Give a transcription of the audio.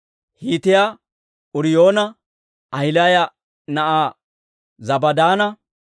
Hiitiyaa Uuriyoona, Ahilaaya na'aa Zabaadanne